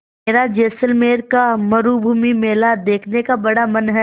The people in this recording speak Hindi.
मेरा जैसलमेर का मरूभूमि मेला देखने का बड़ा मन है